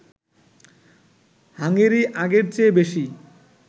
Hungary আগের চেয়ে বেশি